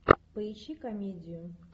поищи комедию